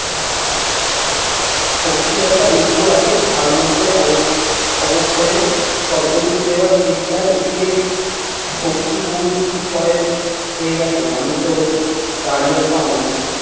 শক্তির একটা উৎস আছে তার মধ্যে অব ক্ষয়ে অবক্ষয়ের শব্দরূপ দেওয়ার চেষ্টার যে শক্তি বহুরূপী ক্ষয় হয়ে গেছে মানুষ জগতে তারই একটা অংশ।